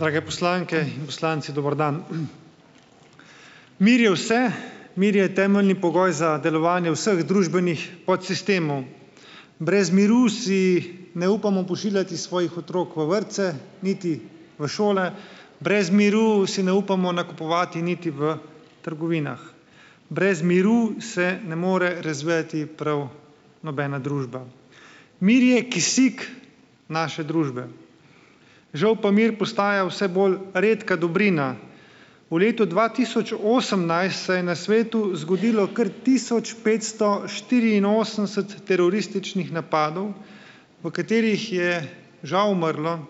Drage poslanke in poslanci, dober dan. Mir je vse, mir je temeljni pogoj za delovanje vseh družbenih podsistemov, brez miru si ne upamo pošiljati svojih otrok v vrtce niti v šole, brez miru si ne upamo niti v trgovinah, brez miru se ne more razvijati, prav nobena družba, mir je kisik naše družbe. Žal pa mir postaja vse bolj redka dobrina. V letu dva tisoč osemnajst se je na svetu zgodilo kar tisoč petsto štiriinosemdeset terorističnih napadov, v katerih je žal umrlo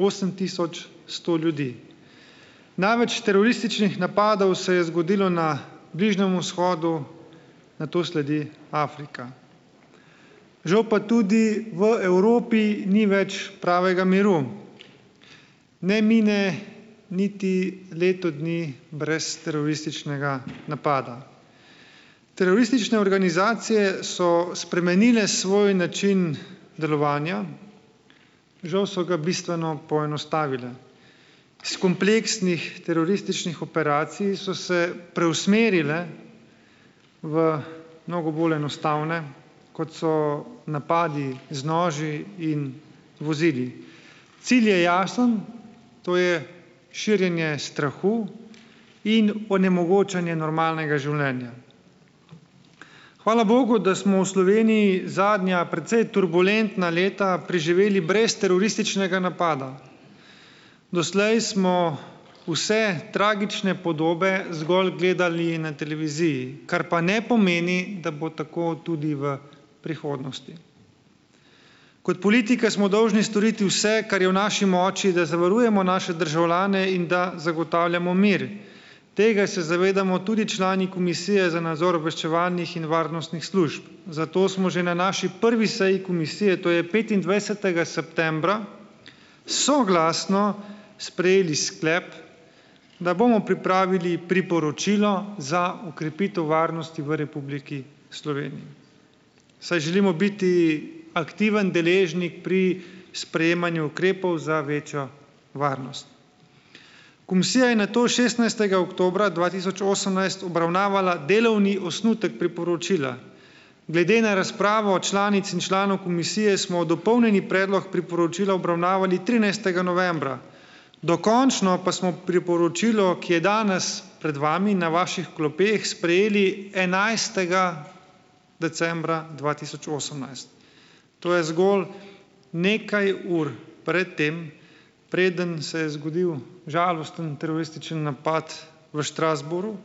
osem tisoč sto ljudi, največ terorističnih napadov se je zgodilo na Bližnjemu vzhodu, nato sledi Afrika, žal pa tudi v Evropi ni več pravega miru, ne mine niti leto dni brez terorističnega napada. Teroristične organizacije so spremenile svoj način delovanja, žal so ga bistveno poenostavile, s kompleksnih terorističnih operacij so se preusmerile v mnogo bolj enostavne, kot so napadi z noži in vozili, cilj je jasen, to je širjenje strahu in onemogočanje normalnega življenja. Hvala bogu, da smo v Sloveniji zadnja precej turbulentna leta preživeli brez terorističnega napada. Doslej smo vse tragične podobe zgolj gledali na televiziji, kar pa ne pomeni, da bo tako tudi v prihodnosti. Kot politika smo dolžni storiti vse, kar je v naši moči, da zavarujemo naše državljane in da zagotavljamo mir, tega se zavedamo tudi člani komisije za nadzor obveščevalnih in varnostnih služb, zato smo že na naši prvi seji komisije, to je petindvajsetega septembra, soglasno sprejeli sklep, da bomo pripravili priporočilo za okrepitev varnosti v Republiki Sloveniji, saj želimo biti aktiven deležnik pri sprejemanju ukrepov za večjo varnost. Komisija je nato šestnajstega oktobra dva tisoč osemnajst obravnavala delovni osnutek priporočila, glede na razpravo članic in članov komisije smo dopolnjeni predlog priporočila obravnavali trinajstega novembra, dokončno pa smo v priporočilu, ki je danes pred vami na vaših klopeh, sprejeli enajstega decembra dva tisoč osemnajst, to je zgolj nekaj ur pred tem, preden se je zgodil žalosten teroristični napad v Strasbourgu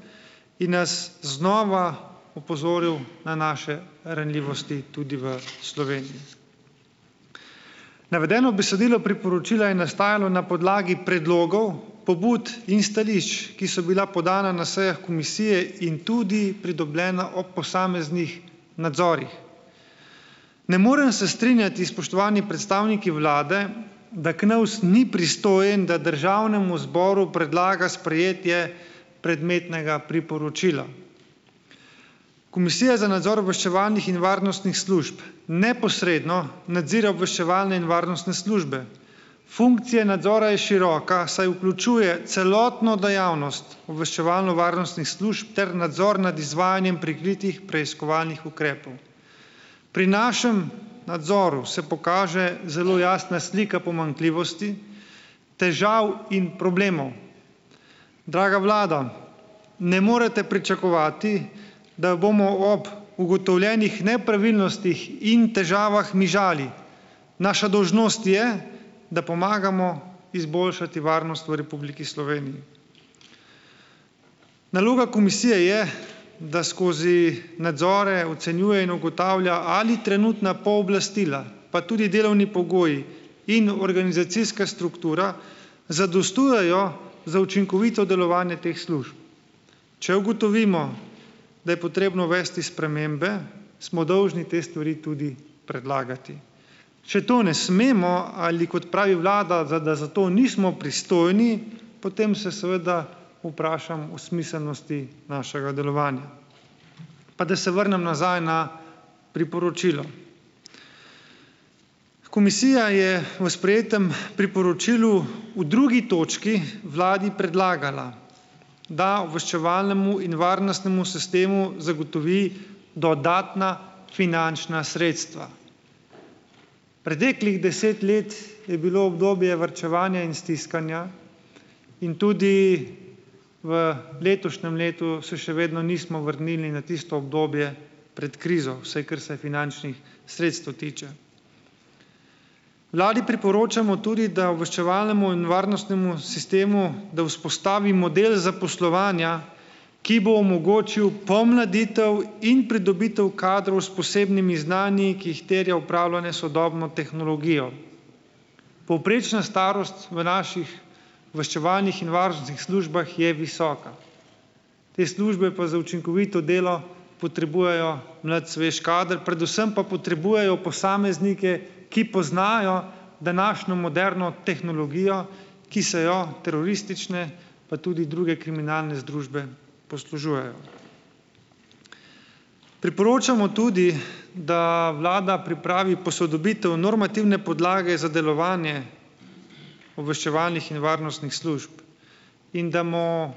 in nas znova opozoril na naše ranljivosti tudi v Sloveniji. Navedeno besedilo priporočila je nastajalo na podlagi predlogov pobud in stališč, ki so bila podana na sejah komisije in tudi pridobljena ob posameznih nadzorih. Ne morejo se strinjati spoštovani predstavniki vlade, da KNOVS ni pristojen, da državnemu zboru predlaga sprejetje predmetnega priporočila. Komisija za nadzor obveščevalnih in varnostnih služb neposredno nadzira obveščevalne in varnostne službe, funkcija nadzora je široka, saj vključuje celotno dejavnost obveščevalno-varnostnih služb ter nadzor nad izvajanjem prikritih preiskovalnih ukrepov. Pri našem nadzoru se pokaže zelo jasna slika pomanjkljivosti težav in problemov. Draga vlada, ne morete pričakovati, da bomo ob ugotovljenih nepravilnostih in težavah mižali, naša dolžnost je, da pomagamo izboljšati varnost v Republiki Sloveniji. Naloga komisije je, da skozi nadzore ocenjuje in ugotavlja, ali trenutna pooblastila pa tudi delovni pogoji in organizacijska struktura zadostujejo za učinkovito delovanje teh služb. Če ugotovimo, da je potrebno uvesti spremembe, smo dolžni te stvari tudi predlagati, če to ne smemo, ali kot pravi vlada, da za to nismo pristojni, potem se seveda vprašam o smiselnosti našega delovanja. Pa da se vrnem nazaj na priporočilo, komisija je v sprejetem priporočilu v drugi točki vladi predlagala, da obveščevalnemu in varnostnemu sistemu zagotovi dodatna finančna sredstva. Preteklih deset let je bilo obdobje varčevanja in stiskanja in tudi v letošnjem letu se še vedno nismo vrnili na tisto obdobje pred krizo, vsaj kar se finančnih sredstev tiče. Vladi priporočamo tudi, da obveščevalnemu in varnostnemu sistemu, da vzpostavimo del zaposlovanja, ki bo omogočil pomladitev in pridobitev kadrov s posebnimi znanji, ki jih terja upravljanje s sodobno tehnologijo. Povprečna starost v naših obveščevalnih in varnostnih službah je visoka, te službe pa za učinkovito delo potrebujejo mlad svež kader, predvsem pa potrebujejo posameznike, ki poznajo današnjo moderno tehnologijo, ki se je teroristične pa tudi druge kriminalne združbe poslužujejo. Priporočamo tudi, da vlada pripravi posodobitev normativne podlage za delovanje obveščevalnih in varnostnih služb, in da bomo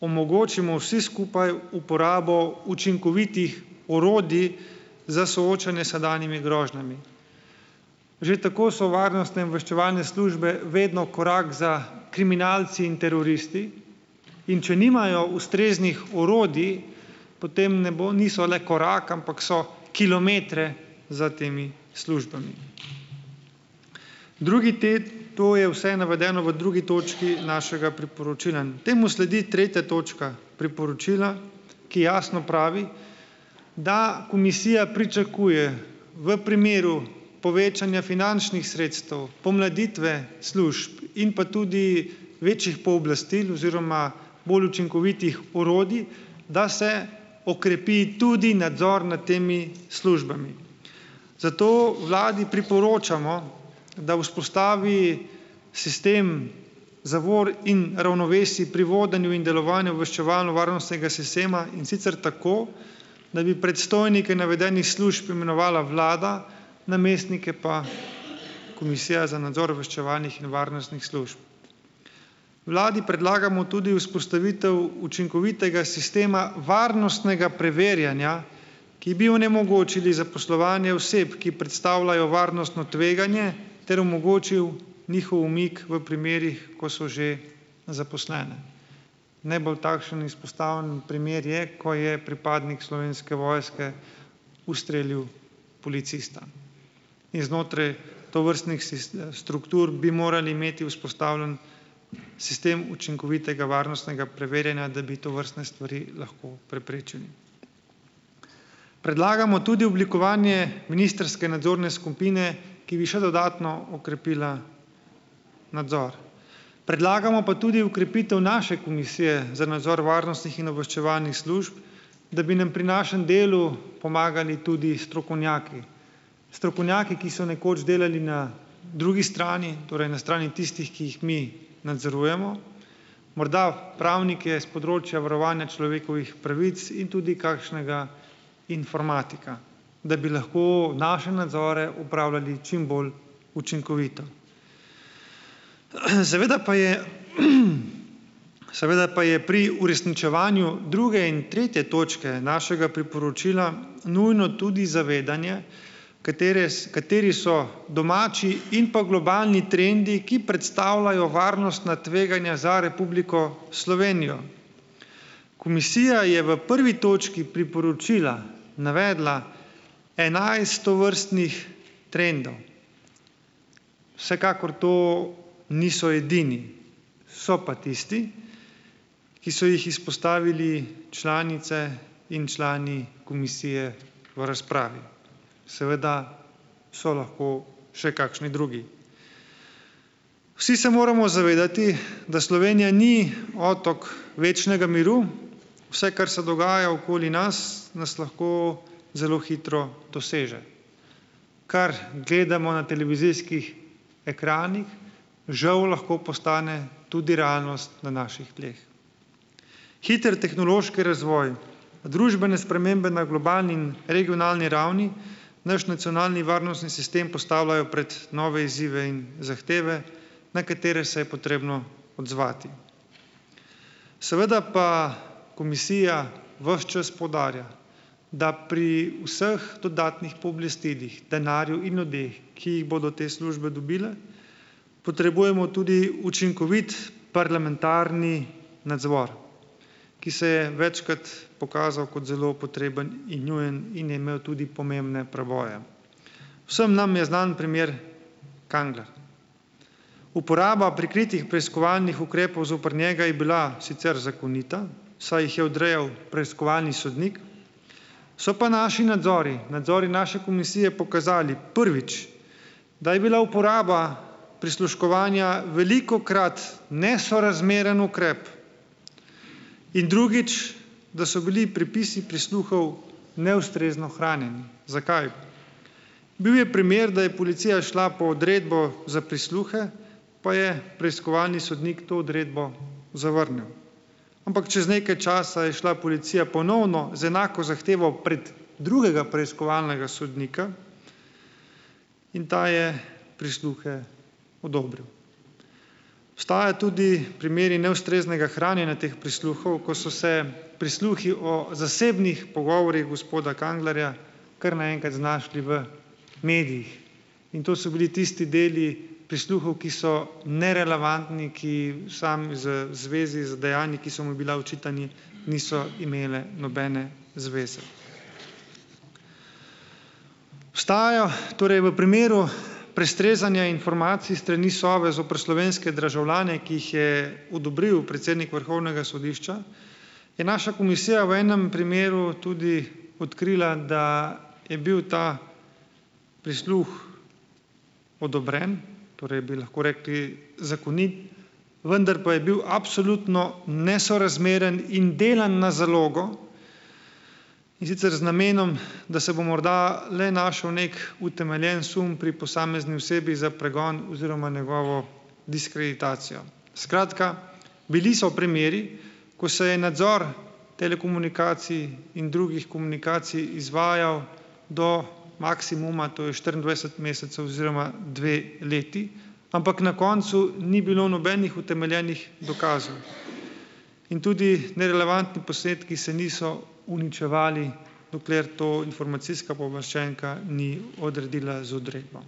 omogočimo vsi skupaj uporabo učinkovitih orodij za soočanje s sedanjimi grožnjami. Že tako so varnostne obveščevalne službe vedno korak za kriminalci in teroristi, in če nimajo ustreznih orodij, potem ne bo niso le korak, ampak so kilometre za temi službami. Drugi to je vse navedeno v drugi točki našega priporočila, temu sledi tretja točka priporočila, ki jasno pravi, da komisija pričakuje v primeru povečanja finančnih sredstev pomladitve služb in pa tudi večjih pooblastil oziroma bolj učinkovitih orodij, da se okrepi tudi nadzor nad temi službami, zato vladi priporočamo, da vzpostavi sistem zavor in ravnovesij pri vodenju in delovanju obveščevalno-varnostnega sistema, in sicer tako da bi predstojnike navedenih služb imenovala vlada, namestnike pa komisija za nadzor obveščevalnih in varnostnih služb. Vladi predlagamo tudi vzpostavitev učinkovitega sistema varnostnega preverjanja, ki bi onemogočili zaposlovanje oseb, ki predstavljajo varnostno tveganje ter omogočil njihov umik v primerih, ko so že zaposlene. Najbolj takšen izpostavljen primer je, ko je pripadnik Slovenske vojske ustrelil policista in znotraj tovrstnih struktur bi morali imeti vzpostavljen sistem učinkovitega varnostnega preverjanja, da bi tovrstne stvari lahko preprečili. Predlagamo tudi oblikovanje ministrske nadzorne skupine, ki bi še dodatno okrepila nadzor, predlagamo pa tudi okrepitev naše komisije za nadzor varnostnih in obveščevalnih služb, da bi nam pri našem delu pomagali tudi strokovnjaki strokovnjaki, ki so nekoč delali na drugi strani, torej na strani tistih, ki jih mi nadzorujemo, morda pravnike s področja varovanja človekovih pravic in tudi kakšnega informatika, da bi lahko naše nadzore opravljali čim bolj učinkovito. Seveda pa je, seveda pa je pri uresničevanju druge in tretje točke našega priporočila nujno tudi zavedanje, katere kateri so domači in pa globalni trendi, ki predstavljajo varnostna tveganja za Republiko Slovenijo. Komisija je v prvi točki priporočila navedla enajst tovrstnih trendov, vsekakor to niso edini, so pa tisti, ki so jih izpostavili članice in člani komisije v razpravi, seveda so lahko še kakšni drugi. Vsi se moramo zavedati, da Slovenija ni otok večnega miru, vse, kar se dogaja okoli nas, nas lahko zelo hitro doseže, kar gledamo na televizijskih ekranih, žal lahko postane tudi realnost na naših tleh. Hiter tehnološki razvoj, družbene spremembe na globalnim, regionalni ravni, naš nacionalni varnostni sistem postavljajo pred nove izzive in zahteve, na katere se je potrebno odzvati, seveda pa komisija ves čas poudarja, da pri vseh dodatnih pooblastilih denarju in ljudeh, ki jih bodo te službe dobile, potrebujemo tudi učinkovit parlamentarni nadzor, ki se je večkrat pokazal kot zelo potreben in nujen in je imel tudi pomembne preboje, vsem nam je znan primer Kangler. uporaba prikritih preiskovalnih ukrepov zoper njega je bila sicer zakonita, saj jih je odrejal preiskovalni sodnik, so pa naši nadzori, nadzori naše komisije pokazali, prvič, da je bila uporaba prisluškovanja velikokrat nesorazmeren ukrep in, drugič, da so bili prepisi prisluhov neustrezno hranjeni. Zakaj? Bil je primer, da je policija šla po odredbo za prisluhe, pa je preiskovalni sodnik to odredbo zavrnil, ampak čez nekaj časa je šla policija ponovno z enako zahtevo pred drugega preiskovalnega sodnika in ta je prisluhe odobril. Obstajajo tudi primeri neustreznega hranjenja teh prisluhov, ko so se prisluhi o zasebnih pogovorih gospoda Kanglerja kar naenkrat znašli v medijih in to so bili tisti deli prisluhov, ki so nerelevantni, ki samo z zvezi z dejanji, ki so mu bila očitana, niso imeli nobene zveze. Vstajajo torej v primeru prestrezanja informacij s strani Sove zoper slovenske državljane, ki jih je odobril predsednik vrhovnega sodišča, je naša komisija v enem primeru tudi odkrila, da je bil ta prisluh odobren, torej bi lahko rekli zakonit, vendar pa je bil absolutno nesorazmeren in delan na zalogo, in sicer z namenom, da se bo morda le našel neki utemeljen sum pri posamezni osebi za pregon oziroma njegovo diskreditacijo, skratka, bili so primeri, ko se je nadzor telekomunikacij in drugih komunikacij izvajal do maksimuma, to je štiriindvajset mesecev oziroma dve leti, ampak na koncu ni bilo nobenih utemeljenih in tudi nerelevantni posnetki se niso uničevali, dokler to informacijska pooblaščenka ni odredila z odredbo.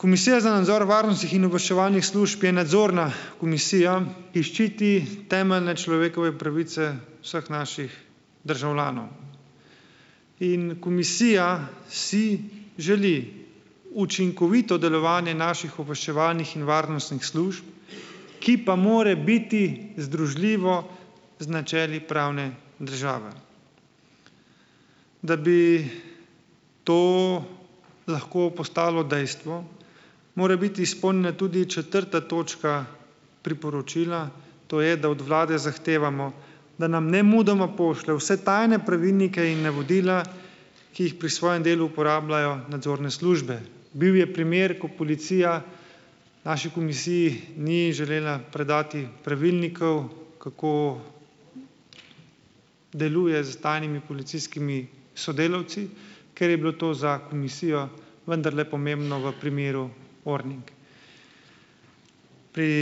Komisija za nadzor varnostnih in obveščevalnih služb je nadzorna komisija, ki ščiti temeljne človekove pravice vseh naših državljanov, in komisija si želi učinkovito delovanje naših obveščevalnih in varnostnih služb, ki pa mora biti združljivo z načeli pravne države. Da bi to lahko postalo dejstvo, mora biti izpolnjena tudi četrta točka priporočila, to je, da od vlade zahtevamo, da nam nemudoma pošlje vse tajne pravilnike in navodila, ki jih pri svojem delu uporabljajo nadzorne službe. Bil je primer, ko policija naši komisiji ni želela predati pravilnikov, kako deluje s tajnimi policijskimi sodelavci, ker je bilo to za komisijo vendarle pomembno v primeru Orning, pri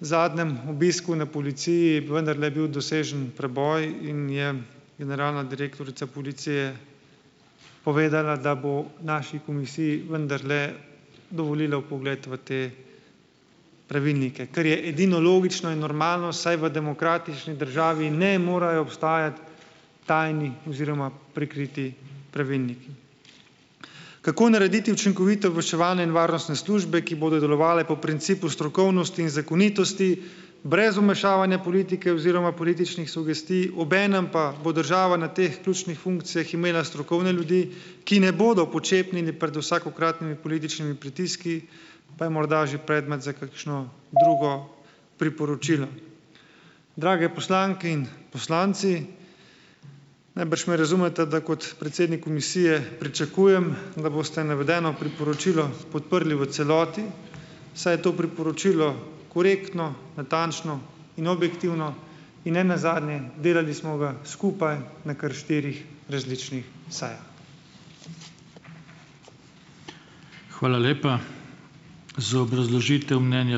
zadnjem obisku na policiji je vendarle bil dosežen preboj in je generalna direktorica policije povedala, da bo naši komisiji vendarle dovolila vpogled v te pravilnike, kar je edino logično in normalno, saj v demokratični državi ne morajo obstajati tajni oziroma prikriti pravilniki. Kako narediti učinkovito obveščevalne in varnostne službe, ki bodo delovale po principu strokovnosti in zakonitosti brez vmešavanja politike oziroma političnih sugestij, obenem pa bo država na teh ključnih funkcijah imela strokovne ljudi, ki ne bodo počepnili pred vsakokratnimi političnimi pritiski, pa je morda že predmet za kakšno drugo priporočilo. Drage poslanke in poslanci, najbrž me razumete, da kot predsednik komisije pričakujem, da boste navedeno priporočilo podprli v celoti, saj to priporočilo korektno, natančno in objektivno in nenazadnje, delali smo ga skupaj na kar štirih različnih sejah. Hvala lepa za obrazložitev mnenja.